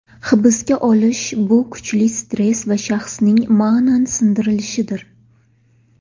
Hibsga olish bu kuchli stress va shaxsning ma’nan sindirilishidir.